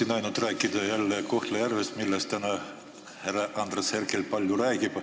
Ma tahan rääkida jälle Kohtla-Järvest, millest täna ka härra Andres Herkel palju räägib.